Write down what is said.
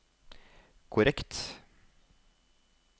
korrekt